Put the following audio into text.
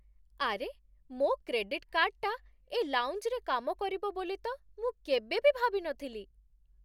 ଆରେ, ମୋ' କ୍ରେଡିଟ୍ କାର୍ଡ଼୍‌ଟା ଏ ଲାଉଞ୍ଜରେ କାମ କରିବ ବୋଲି ତ ମୁଁ କେବେ ଭାବି ବି ନଥିଲି!